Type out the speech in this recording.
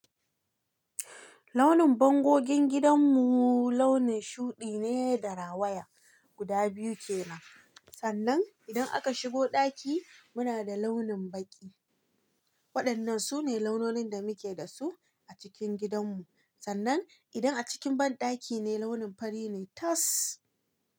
Launin bangogon gidan mu launin shuɗi ne da rawaya guda biyu ke nan. Sannan idan aka shigo ɗaki muna da launin baƙi. Waɗannan sune launonin da muke dasu a cikin gidan mu. Sannan idan a cikin banɗaki ne launin fari ne. Tas!